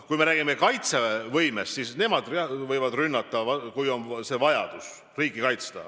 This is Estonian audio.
Kui me räägime kaitsevõimest, siis mina ei usu, et nemad võivad rünnata, kui on vajadus riiki kaitsta.